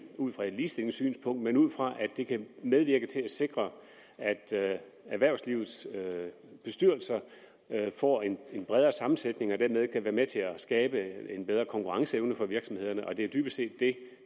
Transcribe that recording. ud fra et ligestillingssynspunkt men ud fra at det kan medvirke til at sikre at erhvervslivets bestyrelser får en bredere sammensætning og dermed kan være med til at skabe en bedre konkurrenceevne for virksomhederne og det er jo dybest set det